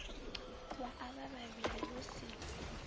wa avha vhavhili hu si